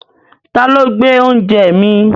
Ta ló gbé oúnjẹ mi?